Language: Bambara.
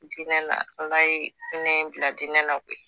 Dinɛ na ALA ye hinɛ in bila dinɛ na koyi.